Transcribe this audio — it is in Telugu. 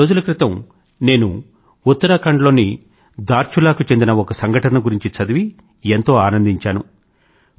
కొద్ది రోజుల క్రితం నేను ఉత్తరాఖండ్ లోని ధార్చులా కు చెందిన ఒక సంఘటన గురించి చదివి నేను ఎంతో ఆనందించాను